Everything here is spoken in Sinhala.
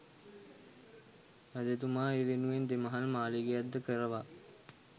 රජතුමා ඒ වෙනුවෙන් දෙමහල් මාලිගයක් ද කරවා